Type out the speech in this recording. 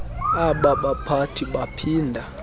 aba baphathi baphinda